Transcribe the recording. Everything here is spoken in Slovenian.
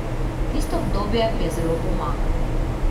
Tisto obdobje mi je zelo pomagalo.